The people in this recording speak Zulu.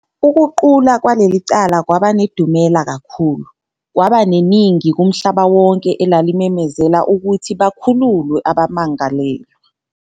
Ukuqula kwaleli cala kwaba nedumela kakhulu, kwaba neningi kumhlaba wonke elalimemezela ukuthi bakhululwe abammangalelwa.